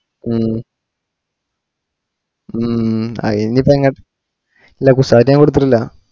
ഉം ഉം അയിനിപ്പോ എങ്ങ ഇല്ല കുസാറ്റ് ഞാൻ കൊടുത്തിട്ടില്ല